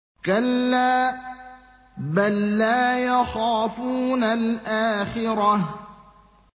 كَلَّا ۖ بَل لَّا يَخَافُونَ الْآخِرَةَ